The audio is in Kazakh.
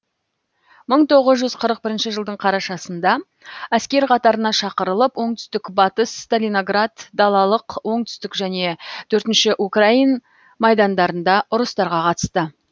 мың тоғыз жүз қырық бірінші жылдың қарашасында әскер қатарына шақырылып оңтүстік батыс сталиноград далалық оңтүстік және төртінші украин майдандарында ұрыстарға қатысты